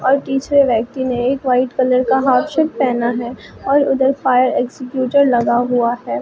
और पीछे व्यक्ति ने एक वाइट कलर का हाफ शर्ट पहना है और उधर फायर एग्जीक्यूटर लगा हुआ है।